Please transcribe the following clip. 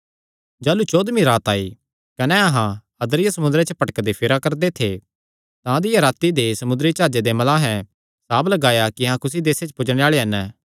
जाह़लू चौदमी रात आई कने अहां अद्रिया समुंदरे च भटकदे फिरा करदे थे तां अधिया राती दे समुंदरी जाह्जे दे मल्लाहें साभ लगाया कि अहां कुसी देसे च पुज्जणे आल़े हन